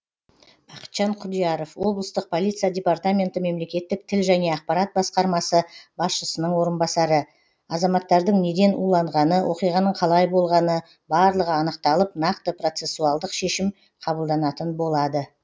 бақытжан құдияров облыстық полиция департаменті мемлекеттік тіл және ақпарат басқармасы басшысының орынбасары азаматтардың неден уланғаны оқиғаның қалай болғаны барлығы анықталып нақты процессуалдық шешім қабылданатын болады